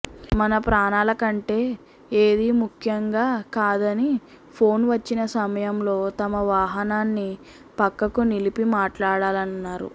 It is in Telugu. మన ప్రాణాల కంటే ఏదీ ముఖ్యంగా కాదని ఫోన్ వచ్చిన సమయంలో తమ వాహనాన్ని పక్కకు నిలిపి మాట్లాడాలన్నారు